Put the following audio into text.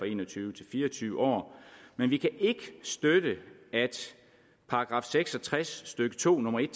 en og tyve til fire og tyve år men vi kan ikke støtte at § seks og tres stykke to nummer en